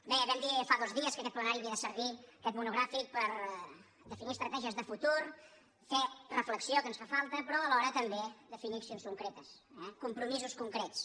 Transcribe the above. bé vam dir fa dos dies que aquest plenari havia de servir aquest monogràfic per definir estratègies de futur fer reflexió que ens fa falta però alhora tam·bé definir accions concretes eh compromisos con·crets